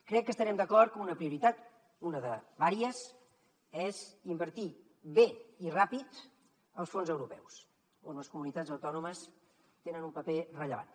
crec que estarem d’acord que una prioritat una de diverses és invertir bé i ràpid els fons europeus on les comunitats autònomes tenen un paper rellevant